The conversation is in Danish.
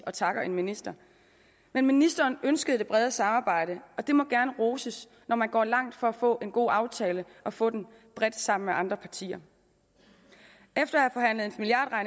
og takker en minister men ministeren ønskede det brede samarbejde og det må gerne roses når man går langt for at få en god aftale og få den bredt sammen med andre partier efter